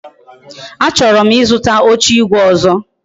A choro m Ị zụta oche igwe ọzọ